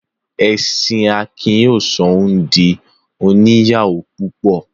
Ẹ̀sìn Akin yóò sọ ọ́ di òní ìyàwó púpọ.